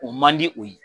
O man di o ye